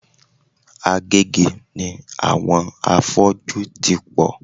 Agege ni àwọn afọ́jú ti pò.